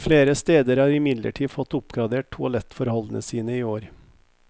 Flere steder har imidlertid fått oppgradert toalettforholdene sine i år.